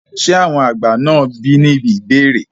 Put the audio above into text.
ṣé àwọn àgbà náà bí ní ìbéèrè?